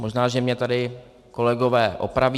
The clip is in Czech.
Možná že mě tady kolegové opraví.